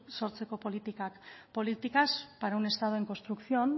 sortzeko politikak políticas para un estado en construcción